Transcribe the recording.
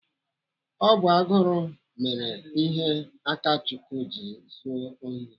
Ọ bụ agụrụ mere ihe Akachukwu ji zuo ohi.